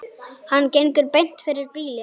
Hann gengur beint fyrir bílinn.